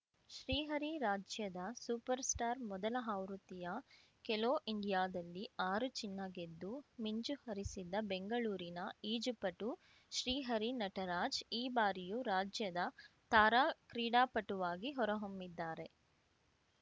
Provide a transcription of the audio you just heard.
ಶ್ರೀಹರಿ ರಾಜ್ಯದ super star ಮೊದಲ ಆವೃತ್ತಿಯ ಖೇಲೋ ಇಂಡಿಯಾದಲ್ಲಿ ಆರು ಚಿನ್ನ ಗೆದ್ದು ಮಿಂಚು ಹರಿಸಿದ್ದ ಬೆಂಗಳೂರಿನ ಈಜು ಪಟು ಶ್ರೀಹರಿ ನಟರಾಜ್‌ ಈ ಬಾರಿಯೂ ರಾಜ್ಯದ ತಾರಾ ಕ್ರೀಡಾಪಟುವಾಗಿ ಹೊರಹೊಮ್ಮಿದ್ದಾರೆ